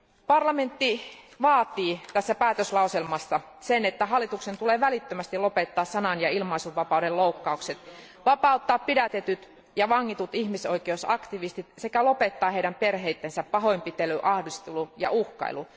Parlamentti vaatii tässä päätöslauselmassa sitä, että hallituksen tulee välittömästi lopettaa sanan ja ilmaisunvapauden loukkaukset, vapauttaa pidätetyt ja vangitut ihmisoikeusaktivistit sekä lopettaa heidän perheidensä pahoinpitely, ahdistelu ja uhkailu.